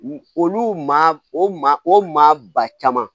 Olu maa o maa o maa ba caman